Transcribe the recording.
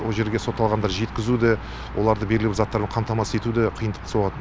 ол жерге сотталғандарды жеткізу де оларды белгілі бір заттармен қамтамасыз ету де қиындыққа соғады